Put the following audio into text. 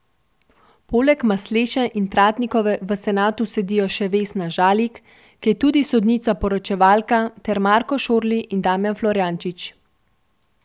Poleg Masleše in Tratnikove v senatu sedijo še Vesna Žalik, ki je tudi sodnica poročevalka, ter Marko Šorli in Damijan Florjančič.